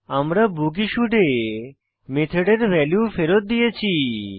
আমরা বুকিশুড এ মেথডের ভ্যালু ফেরৎ দিয়েছি